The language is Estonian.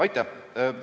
Aitäh!